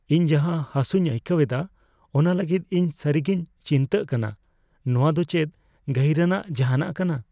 ᱤᱧ ᱡᱟᱦᱟ ᱦᱟᱥᱩᱧ ᱟᱹᱭᱠᱟᱹᱣᱮᱫᱟ ᱚᱱᱟ ᱞᱟᱹᱜᱤᱫ ᱤᱧ ᱥᱟᱹᱨᱤᱜᱤᱧ ᱪᱤᱱᱛᱟᱹᱜ ᱠᱟᱱᱟ ᱾ ᱱᱚᱣᱟ ᱫᱚ ᱪᱮᱫ ᱜᱟᱹᱦᱤᱨᱟᱱᱟᱜ ᱡᱟᱦᱟᱱᱟᱜ ᱠᱟᱱᱟ ?